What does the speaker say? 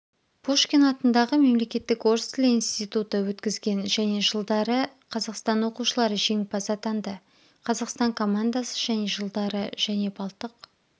пушкин атындағы мемлекеттік орыс тілі институты өткізген және жылдары қазақстан оқушылары жеңімпаз атанды қазақстан командасы және жылдары және балтық